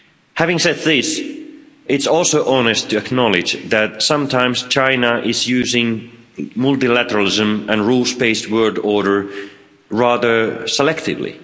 Having said this, it's also honest to acknowledge that sometimes China is using multilateralism and a rules based world order rather selectively.